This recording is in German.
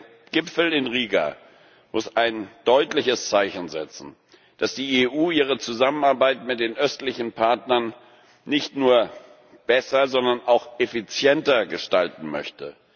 Aber der Gipfel in Riga muss ein deutliches Zeichen setzen, dass die EU ihre Zusammenarbeit mit den östlichen Partnern nicht nur besser, sondern auch effizienter gestalten möchte.